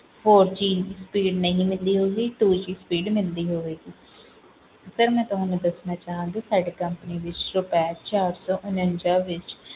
four G speed ਨਹੀਂ ਮਿਲਦੀ ਹੋਊਗੀ two G speed ਮਿਲਦੀ ਹੋਵੇਗੀ sir ਮੈਂ ਤੁਹਾਨੂੰ ਦੱਸਣਾ ਚਾਹਾਂਗੀ ਕਿ ਸਾਡੇ company ਵਿੱਚ ਰੁਪਏ ਚਾਰ ਸੌ ਉਣੰਜਾ ਵਿੱਚ,